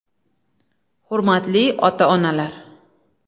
“Hurmatli ota onalar!